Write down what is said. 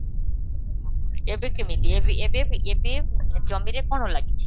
ହଁ, ଏବେ କେମିତି ଏବେ ବି ଏବେ ଜମିରେ କ'ଣ ଲାଗିଛି?